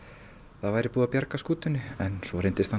það væri búið að bjarga skútunni en svo reyndist það